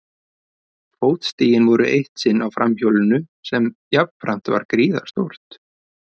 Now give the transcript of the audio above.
Fótstigin voru eitt sinn á framhjólinu sem jafnframt var gríðarstórt.